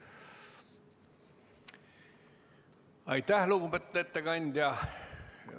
Aitäh, lugupeetud ettekandja!